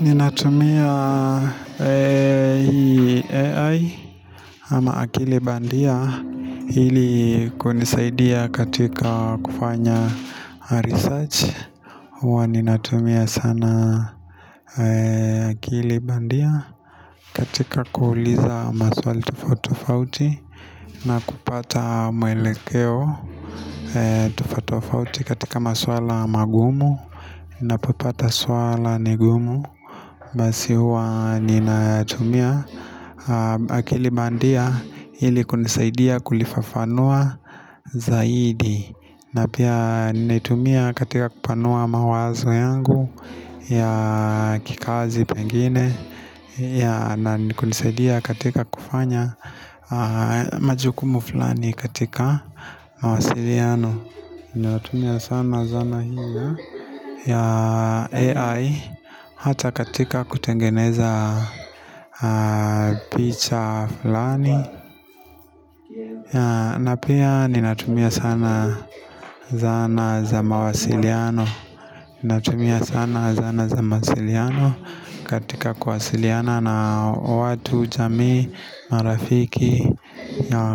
Ninatumia AI ama akili bandia hili kunisaidia katika kufanya research hua ninatumia sana akili bandia katika kuuliza maswali tofatofauti na kupata mwelekeo tofatofauti katika masuala magumu Napopata suala nigumu Basi huwa nina tumia Akilibandia ili kunisaidia kulifafanua zaidi Napia ninai tumia katika kupanua mawazo yangu ya kikazi pengine ya na kunisaidia katika kufanya majukumu fulani katika mawasiliano Nina tumia sana zana hiyo ya AI Hata katika kutengeneza picha fulani na pia ninatumia sana Zana za mawasiliano Ninatumia sana Zana za mawasiliano katika kuwasiliana na watu jamii marafiki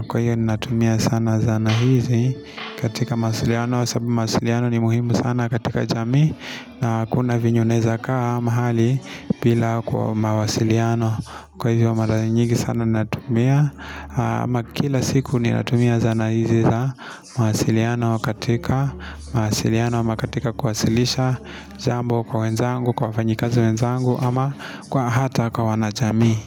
Kwa hiyo ninatumia sana zana hizi katika mawasiliano sabu mawasiliano ni muhimu sana katika jamii na kuna vinye unaeza kaa mahali bila kwa mawasiliano Kwa hivyo mara nyingi sana natumia ama kila siku ninatumia zana izi za mawasiliano katika mawasiliano ama katika kuwasilisha jambo kwa wenzangu, kwa wafanyikazi wenzangu ama kwa hata kwa wanachamii.